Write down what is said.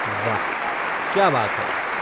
वाह क्या बात है।